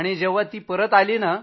जेव्हा ती परत आली नं